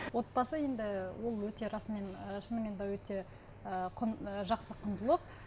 отбасы енді ол өте расымен ы шынымен де өте ыыы ы жақсы құндылық